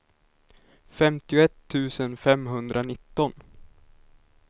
femtioett tusen femhundranitton